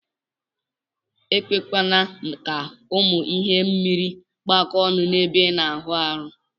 Ekwekwana ka ụmụ ihe mmiri kpakọ ọnụ ebe ina awụ arụ.